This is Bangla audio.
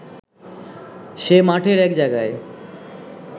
সে মাঠের এক জায়গায়